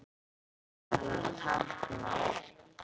Hann talar táknmál.